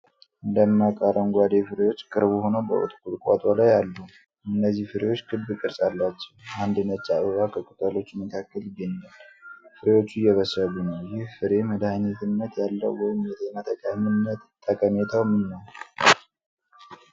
ደማቅ አረንጓዴ ፍሬዎች ቅርብ ሆነው በቁጥቋጦ ላይ አሉ። እነዚህ ፍሬዎች ክብ ቅርጽ አላቸው። አንድ ነጭ አበባ ከቅጠሎቹ መካከል ይገኛል። ፍሬዎቹ እየበሰሉ ነው። ይህ ፍሬ መድኃኒትነት ያለው ወይም የጤና ጠቀሜታው ምን ነው?